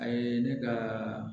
A ye ne ka